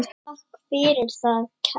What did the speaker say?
Takk fyrir það, kæra amma.